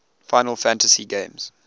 final fantasy games